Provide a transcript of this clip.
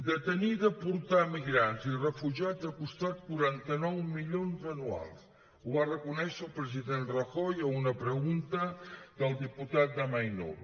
detenir i deportar emigrants i refugiats ha costat quaranta nou milions anuals ho va reconèixer el president rajoy a una pregunta del diputat d’amaiur